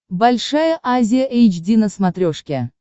большая азия эйч ди на смотрешке